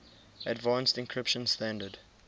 advanced encryption standard